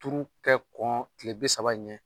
Turu kɛ kɔn tile bi sabi in ɲɛ